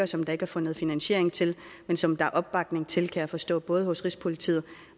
som der ikke er fundet finansiering til men som der er opbakning til kan jeg forstå både hos rigspolitiet